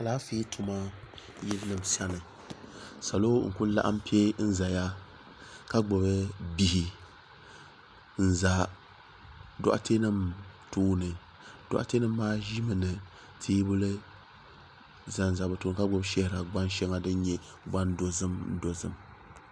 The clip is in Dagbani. alaanƒɛ tuma yili nɛm sani salo n kuli laɣim pɛ n zaya ka gbabi bihi n za dogitɛ nim tuuni dogitɛ nim maa ʒɛ ʒɛmi ka tɛbuya bɛ be tuuni ka gbana pa di zuɣ ka nyɛ gban dozima